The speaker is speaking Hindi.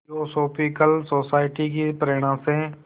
थियोसॉफ़िकल सोसाइटी की प्रेरणा से